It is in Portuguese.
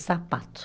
Sapato.